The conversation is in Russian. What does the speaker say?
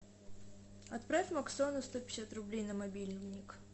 отправь максону сто пятьдесят рублей на мобильник